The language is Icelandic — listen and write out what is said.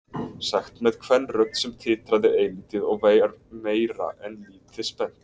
Sagt með kvenrödd sem titraði eilítið og var meira en lítið spennt.